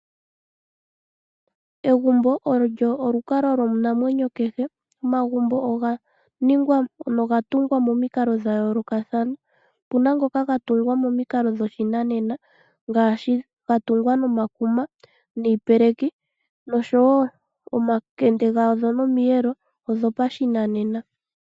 Egumbo olyo olukalwa lwomunamwenyo kehe. Omagumbo oga tungwa pamikalo dha yoolokathana. Opu na ngoka ga tungwa pashinanena, ga tungwa nomakuma niipeleki noshowo omakende gadho nomiyelo oyo pashinanena.